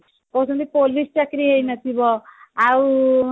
ସେ କିନ୍ତୁ police ଚାକିରି ହେଇ ନଥିବ ଆଉ